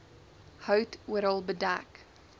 hout oral bedek